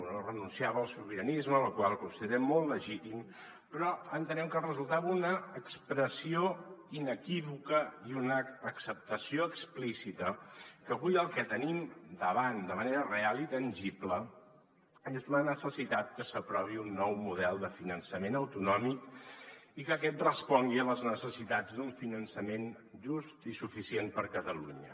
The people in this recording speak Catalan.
no renunciava al sobiranisme la qual cosa considerem molt legítima però entenem que resultava una expressió inequívoca i una acceptació explícita que avui el que tenim davant de manera real i tangible és la necessitat que s’aprovi un nou model de finançament autonòmic i que aquest respongui a les necessitats d’un fi·nançament just i suficient per a catalunya